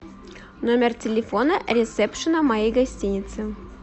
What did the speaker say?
номер телефона ресепшена моей гостиницы